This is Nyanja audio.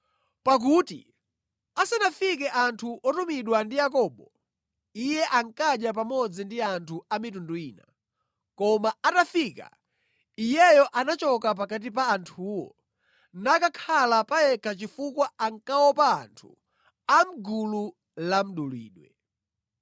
Pakuti asanafike anthu otumidwa ndi Yakobo, iye ankadya pamodzi ndi anthu a mitundu ina. Koma atafika, iyeyo anachoka pakati pa anthuwo nakakhala pa yekha chifukwa ankaopa anthu a mʼgulu la mdulidwe.